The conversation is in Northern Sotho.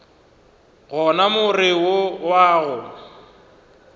gona more wo wa go